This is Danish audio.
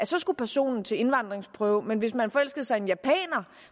så skulle personen til indvandringsprøve men hvis man forelskede sig i en japaner